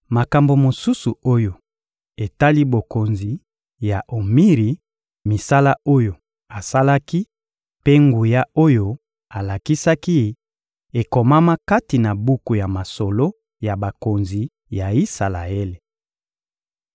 Makambo mosusu oyo etali bokonzi ya Omiri: misala oyo asalaki mpe nguya oyo alakisaki, ekomama kati na buku ya masolo ya bakonzi ya Isalaele.